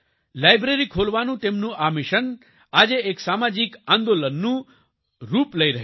library ખોલવાનું તેમનું આ મિશન આજે એક સામાજિક આંદોલનનું રૂપ લઈ રહ્યું છે